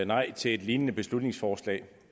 nej til et lignende beslutningsforslag